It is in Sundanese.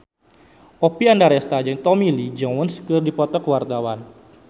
Oppie Andaresta jeung Tommy Lee Jones keur dipoto ku wartawan